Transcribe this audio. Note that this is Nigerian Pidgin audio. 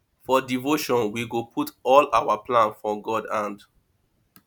for devotion we go put all our plan for god hand